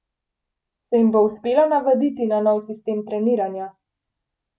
Se jim bo uspelo navaditi na nov sistem treniranja?